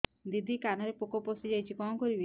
ଦିଦି କାନରେ ପୋକ ପଶିଯାଇଛି କଣ କରିଵି